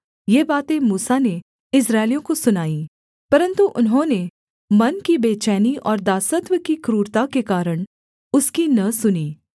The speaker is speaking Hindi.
ये बातें मूसा ने इस्राएलियों को सुनाईं परन्तु उन्होंने मन की बेचैनी और दासत्व की क्रूरता के कारण उसकी न सुनी